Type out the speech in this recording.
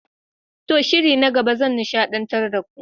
To! shiri na gaba zan nishadantar da ku.